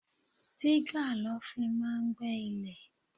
Digger lo fi máa ń gbé ilẹ̀.